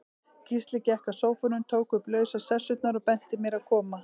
Gísli gekk að sófanum, tók upp lausar sessurnar, og benti mér að koma.